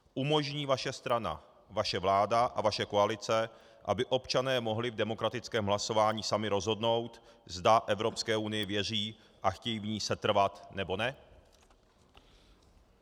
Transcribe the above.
Umožní vaše strana, vaše vláda a vaše koalice, aby občané mohli v demokratickém hlasování sami rozhodnout, zda Evropské unii věří a chtějí v ní setrvat, nebo ne?